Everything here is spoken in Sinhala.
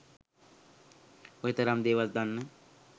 ඔය තරම් දේවල් දන්න